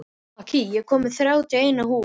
Akira, ég kom með þrjátíu og eina húfur!